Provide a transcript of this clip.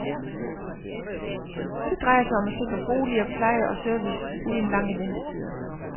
Det drejer sig om at sikre boliger, pleje og service uden lange ventetider.